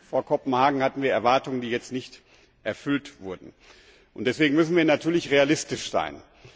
Vor Kopenhagen hatten wir Erwartungen, die jetzt nicht erfüllt wurden, und deswegen müssen wir natürlich realistisch sein.